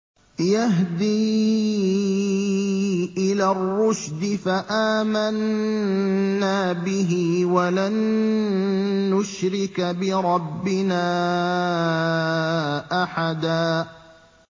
يَهْدِي إِلَى الرُّشْدِ فَآمَنَّا بِهِ ۖ وَلَن نُّشْرِكَ بِرَبِّنَا أَحَدًا